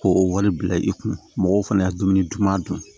K'o o wale bila i kun mɔgɔw fana ye dumuni duman dun